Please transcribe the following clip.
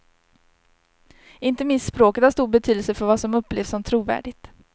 Inte minst språket har stor betydelse för vad som upplevs som trovärdigt.